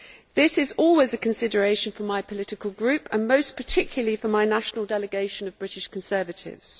This is always a consideration for my political group, and most particularly for my national delegation of British Conservatives.